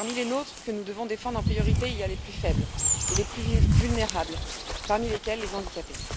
Et parmi les nôtres que nous devons défendre en priorité, il y a les plus faibles et les plus vulnérables, parmi lesquels les handicapés.